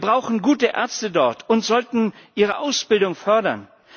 Wir brauchen dort gute Ärzte und sollten ihre Ausbildung fördern.